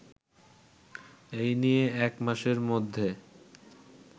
এই নিয়ে একমাসের মধ্যে